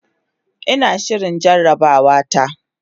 Ina shirin jarabawata.